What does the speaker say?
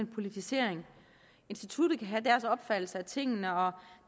politisering instituttet kan have deres opfattelse af tingene og